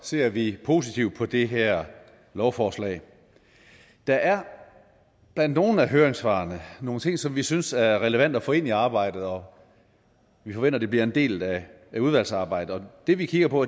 ser vi positivt på det her lovforslag der er blandt nogle af høringssvarene nogle ting som vi synes er relevante at få ind i arbejdet og vi forventer de bliver en del af udvalgsarbejdet det vi kigger på